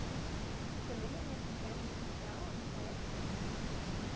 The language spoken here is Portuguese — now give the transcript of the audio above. Você lembra de uma parqueira em especial nessa época?